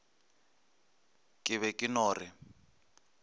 ke be ke no re